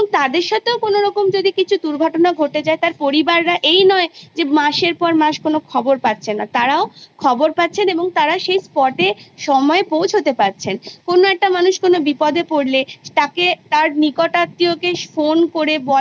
এবার তারপরে যখন আরো নতুন শিক্ষা ব্যবস্থা আসতে চলেছে জাতীয় শিক্ষানীতি যেটা হয়তো একদুবছরের মধ্যে আমাদের ভারতবর্ষে চলে আসবে তখন আমাদের চিরাচরিত শিক্ষার যে ব্যবস্থা সেটা সেটাতে আমূল পরিবর্তন ঘটতে চলেছে